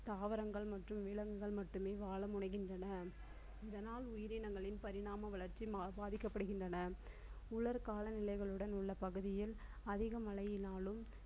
தாவரங்கள் மற்றும் விலங்குகள் மட்டுமே வாழ முடிகின்றன. இதனால் உயிரினங்களின் பரிணாம வளர்ச்சி பாதிக்கப்படுகின்றன. உலர் கால நிலைகளுடன் உள்ள பகுதியில் அதிக மழையினாலும்